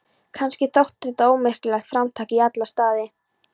Kannski þótt þetta ómerkilegt framtak í alla staði.